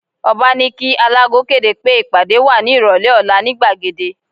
Ọ̀ba ní kí alágo kéde pé ìpàdé wà ní ìrọ̀lẹ́ ọ̀la ní gbàgede